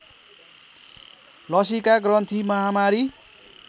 लसीका ग्रन्थि महामारी